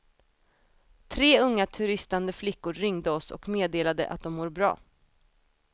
Tre unga turistande flickor ringde oss och meddelade att de mår bra.